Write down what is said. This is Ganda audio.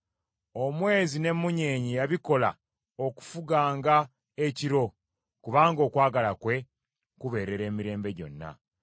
Omwezi n’emmunyeenye yabikola okufuganga ekiro, kubanga okwagala kwe kubeerera emirembe gyonna.